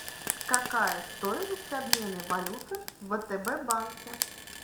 какая стоимость обмена валюты в втб банке